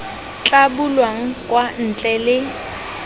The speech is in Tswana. tla bulwang kwa ntle le